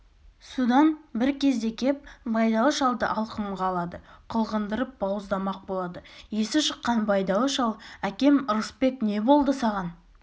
содан бір кезде кеп байдалы шалды алқымға алады қылғындырып бауыздамақ болады есі шыққан байдалы шал әкем ырысбек не болды саған